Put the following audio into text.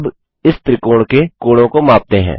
अब इस त्रिकोण के कोणों को मापते हैं